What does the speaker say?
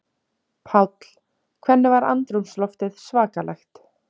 Páll: Hvernig var andrúmsloftið svakalegt?